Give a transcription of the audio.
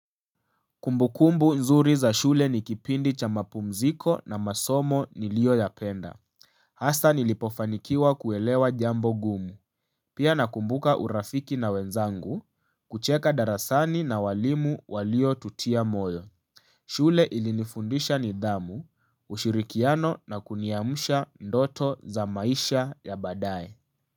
Kumbukumbu nzuri za shule ni kipindi cha mapumziko na masomo nilioyapenda Hasa nilipofanikiwa kuelewa jambo gumu Pia nakumbuka urafiki na wenzangu kucheka darasani na walimu waliotutia moyo shule ilinifundisha nidhamu, ushirikiano na kuniamsha ndoto za maisha ya baadaye.